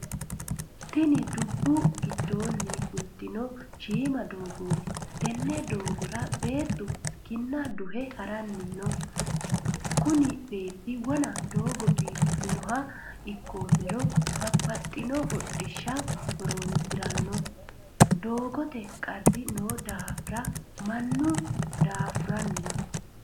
Tinni dubu gidoonni fultino shiima doogooti tenne doogora beettu kinna duhe haranni no. Kunni beeti wonna doogo biifinoha ikoomero babbaxino hodhisha horoonsirano doogote qari noo daafa mannu daafuranni no.